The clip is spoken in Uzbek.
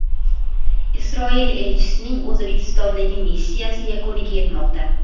Isroil elchisining O‘zbekistondagi missiyasi yakuniga yetmoqda.